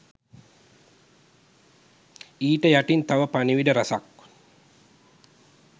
ඊට යටින් තව පණිවිඩ රැසක්